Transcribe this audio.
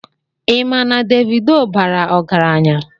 Ị ma na Davido bara ọgaranya?